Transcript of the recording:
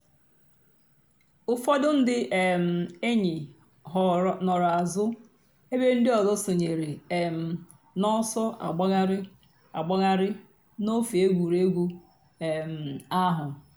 ụ́fọ̀dù ńdí um èn̄yì nọ̀rò àzụ̀ èbè ńdí òzò sọǹyèrè um n'ọ̀sọ̀ àgbàghàrì àgbàghàrì n'òfè ègwè́régwụ̀ um àhụ̀.